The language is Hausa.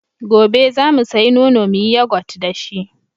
Gobe za mu sayi nono mu yi yagot da shi.